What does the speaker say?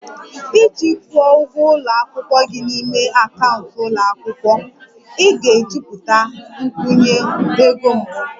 Iji kwụọ ụgwọ ụlọ akwụkwọ gị n'ime akaụntụ ụlọ akwụkwọ, ị ga-ejupụta nkwụnye ego mbụ